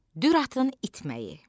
Dürtın itməyi.